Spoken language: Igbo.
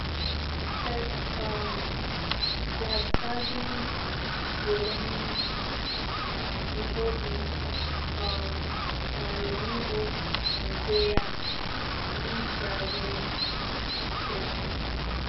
All images: S um laskavým svolením knihovny um Národního muzea v Praze, C̆esko.